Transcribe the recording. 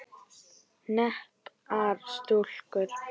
Heppnar stúlkur?